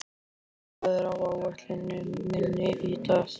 Bjarnhéðinn, hvað er á áætluninni minni í dag?